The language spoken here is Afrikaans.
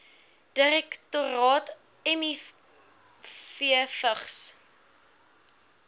direktoraat miv vigs